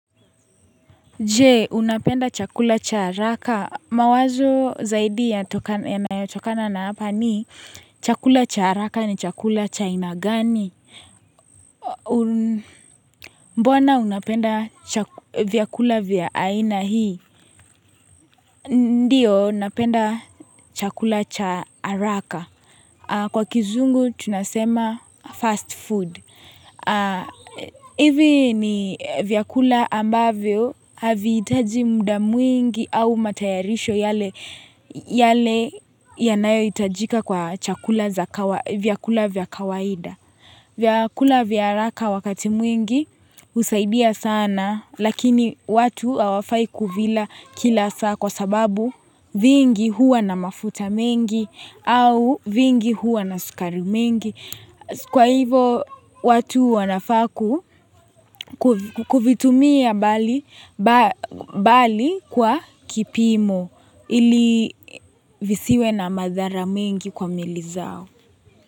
Jee unapenda chakula cha haraka mawazo zaidi yanayotokana na hapa ni chakula cha haraka ni chakula cha aina gani Mbona unapenda chakula vyakula vya aina hii Ndiyo napenda chakula cha haraka Kwa kizungu tunasema fast food. Hivi ni vyakula ambavyo haviitaji muda mwingi au matayarisho yale yanayo itajika kwa chakula za vyakula vya kawaida. Vyakula vya haraka wakati mwingi husaidia sana lakini watu hawafai kuvila kila saa kwa sababu vingi huwa na mafuta mengi au vingi huwa na sukari mengi Kwa hivyo watu wanafaa ku kuvitumia mbali kwa kipimo ili visiwe na madhara mengi kwa miili zao.